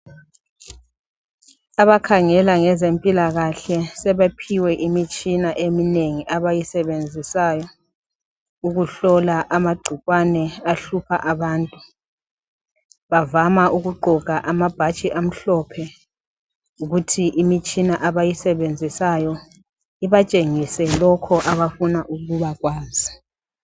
abakhangela ngezempilakahle sebephiwe imitshina eminengi abayisebenzisayo ukuhlola amagcikwane ahlupha abantu bavama ukugqoka amabhatshi amhlophe kuthi imitshina bayisebenzisayo ibatshengise lokho abafuna ukuba kwazi